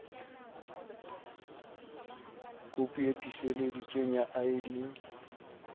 kopi e tiiseleditsweng ya id